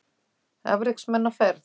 Afreksmenn á ferð